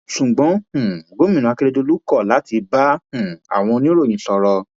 ṣùgbọn um gòmìnà akérèdọlù kọ láti bá um àwọn oníròyìn sọrọ